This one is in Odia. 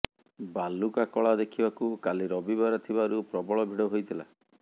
ବାଲୁକା କଳା ଦେଖିବାକୁ କଲି ରବିବାର ଥିବାରୁ ପ୍ରବଳ ଭିଡ ହେଇଥିଲା